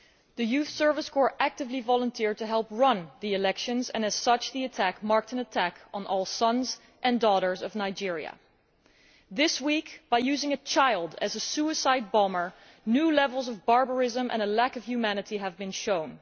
The Youth Service Corps actively volunteered to help run the elections, and as such the attack marked an attack on all sons and daughters of Nigeria. This week, by using a child as a suicide bomber, new levels of barbarism and a lack of humanity have been shown.